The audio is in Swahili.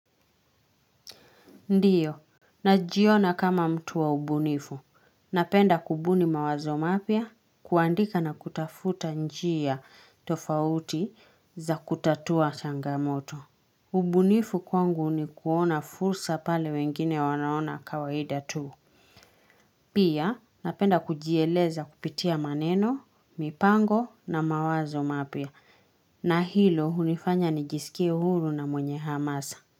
Ndiyo. Najiona kama mtu wa ubunifu. Napenda kubuni mawazo mapya kuandika na kutafuta njia tofauti za kutatua changamoto. Ubunifu kwangu ni kuona fursa pale wengine wanaona kawaida tu. Pia napenda kujieleza kupitia maneno, mipango na mawazo mapya. Na hilo hunifanya nijisikie huru na mwenye hamasa.